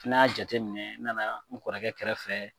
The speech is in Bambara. N na jate minɛ, n nana n kɔrɔkɛ kɛrɛfɛ.